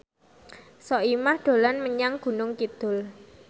Soimah dolan menyang Gunung Kidul